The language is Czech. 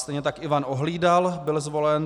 Stejně tak Ivan Ohlídal byl zvolen.